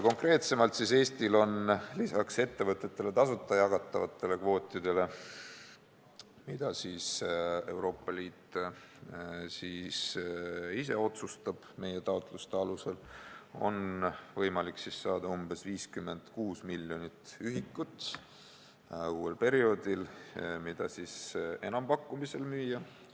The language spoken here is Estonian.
Konkreetsemalt öeldes on Eestil lisaks ettevõtetele tasuta jagatavatele kvootidele, mille andmise üle otsustab Euroopa Liit meie taotluste alusel, võimalik uuel perioodil saada ka umbes 56 miljonit ühikut enampakkumisel müümiseks.